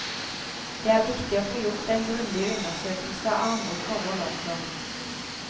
Det er viktig å få gjort en grundig undersøkelse av andre forhold også.